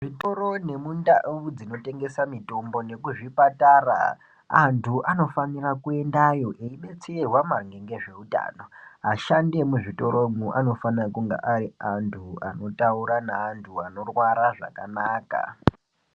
Zvitoro nemundau dzinotengesa mitombo nekuzvipatara, antu anofanira kuendayo eibatsirwa ngezveutano. Ashandi emuzvitoro anofana kunge ari antu anotaura neantu anorwara zvakanaka.